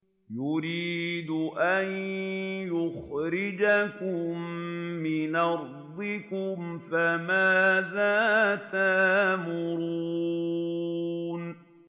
يُرِيدُ أَن يُخْرِجَكُم مِّنْ أَرْضِكُمْ ۖ فَمَاذَا تَأْمُرُونَ